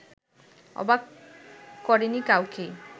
অবাক করেনি কাউকেই